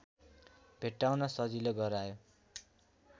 भेट्टाउन सजिलो गरायो